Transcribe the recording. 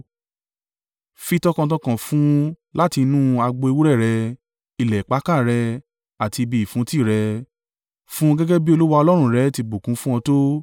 Fi tọkàntọkàn fún un láti inú agbo ewúrẹ́ rẹ, ilẹ̀ ìpakà rẹ, àti ibi ìfúntí rẹ. Fún un gẹ́gẹ́ bí Olúwa Ọlọ́run rẹ ti bùkún fún ọ tó.